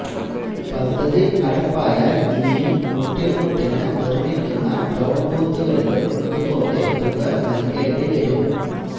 പദ്ധതി നടപ്പായാല് ഇനിയും മുട്ടിനു മുട്ടിനു നിര്മ്മിക്കുന്ന ടോള് ബൂത്തുകളിലും ഇതേപോലെ തുക നല്കേണ്ടി വരും